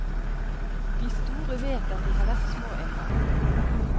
De store vet at de har vært små engang.